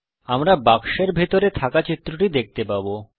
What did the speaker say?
আমরা বাক্সের ভিতরে থাকা চিত্রটি দেখতে পাবো